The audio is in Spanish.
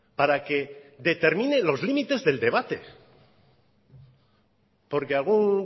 para que determine los límites del debate porque algún